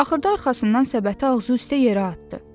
Axırda arxasından səbəti ağzıüstə yerə atdı.